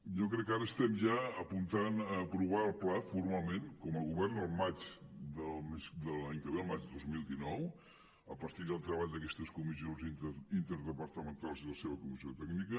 jo crec que ara estem ja apuntant a aprovar el pla formalment com a govern al maig de l’any que ve al maig de dos mil dinou a partir del treball d’aquestes comissions inter departamentals i la seva comissió tècnica